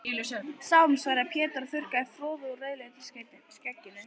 Sálm, svaraði Pétur og þurrkaði froðu úr rauðleitu skegginu.